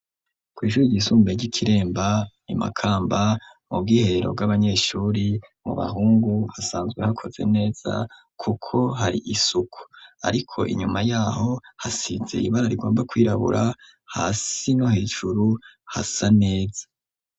Kwishure igisumbe ry'ikiremba imakamba mu bwiherro bw'abanyeshuri mu bahungu hasanzwe hakoze neza, kuko hari isuku, ariko inyuma yaho hasize ibara rigomba kwirabura ha sino hejuru hasa neza.